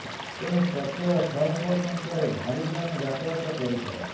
ତେଣୁ ପ୍ରତ୍ୟେହ ଶହ ଶହ ସଂଖ୍ୟାରେ ଭାରୀ ଯାନ ଯାତାୟତ କରିଥାଏ